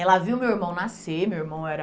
Ela viu meu irmão nascer, meu irmão era...